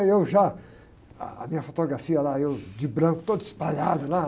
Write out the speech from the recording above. Aí eu já, ah, a minha fotografia lá, eu de branco todo espalhado lá.